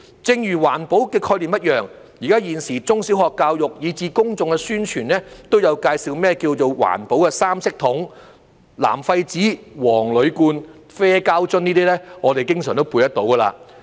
正如環保的概念一樣，現時中小學教育，以至公眾的宣傳都有介紹甚麼是環保三色桶，"藍廢紙、黃鋁罐、啡膠樽"，這些分類我們經常都背出來。